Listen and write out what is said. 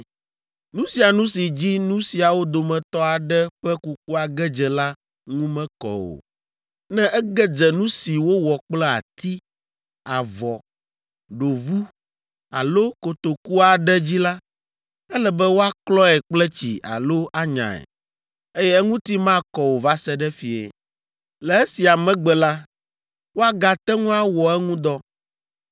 Nu sia nu si dzi nu siawo dometɔ aɖe ƒe kukua ge dze la ŋu mekɔ o. Ne ege dze nu si wowɔ kple ati, avɔ, ɖovu alo kotoku aɖe dzi la, ele be woaklɔe kple tsi alo anyae, eye eŋuti makɔ o va se ɖe fiẽ. Le esia megbe la, woagate ŋu awɔ eŋu dɔ.